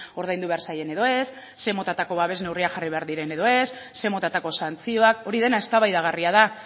ordaindu behar zaien edo ez ze motatako babes neurriak jarri behar diren edo ez ze motatako santzioak hori dena eztabaidagarria da